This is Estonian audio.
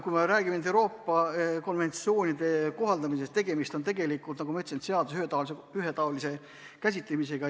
Kui me räägime Euroopa konventsioonide kohaldamisest, siis tegemist on, nagu ma ütlesin, seaduste ühetaolise käsitamisega.